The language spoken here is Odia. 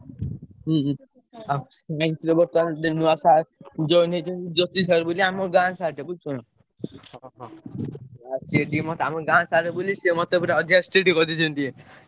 ହୁଁ ଆଉ ନୂଆ sir join ହେଇଚନ୍ତି ଜ୍ୟୋତି sir ବୋଲି ଆମ ଗାଁ sir ଟେ ବୁଝୁଚ ନା ସିଏ ଟିକେ ଆମ ଗାଁ sir ବୋଲି ସିଏ ମତେ ପୁରା ଅଧିକା strict କରି ଦେଇଛନ୍ତି ଟିକେ,